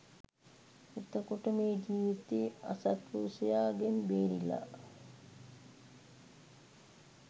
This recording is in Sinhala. එතකොට මේ ජීවිතයේ අසත්පුරුෂයාගෙන් බේරිලා